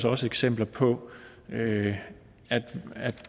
også eksempler på at